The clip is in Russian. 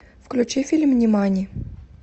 включи фильм нимани